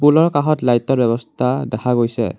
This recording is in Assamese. পুলৰ কাষত লাইটৰ ব্যৱস্থা দেখা গৈছে।